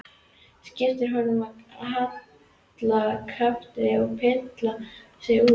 Skipar honum að halda kjafti og pilla sig út.